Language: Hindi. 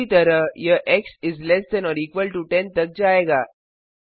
इसी तरह यह x is less than or equal to 10 तक जाएगा